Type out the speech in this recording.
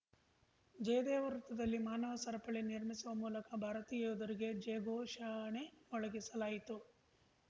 ಜಯದೇವ ವೃತ್ತದಲ್ಲಿ ಮಾನವ ಸರಪಳಿ ನಿರ್ಮಿಸುವ ಮೂಲಕ ಭಾರತೀಯ ಯೋಧರಿಗೆ ಜಯ ಘೋಷಣೆ ಮೊಳಗಿಸಲಾಯಿತು